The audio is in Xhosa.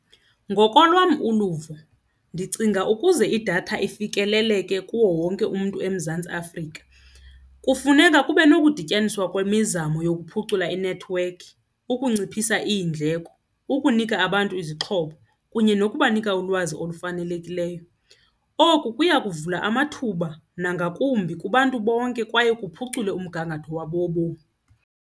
Ngokolwam uluvo ndicinga ukuze idatha ifikeleleke kuwo wonke umntu eMzantsi Afrika kufuneka kube nokudityaniswa kwemizamo yokuphucula inethiwekhi, ukunciphisa iindleko, ukunika abantu izixhobo kunye nokubanika ulwazi olufanelekileyo. Oku kuya kuvula amathuba nangakumbi kubantu bonke kwaye kuphucule umgangatho wabo wobomi.